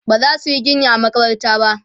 bazasu Yi Gini a a makabarta ba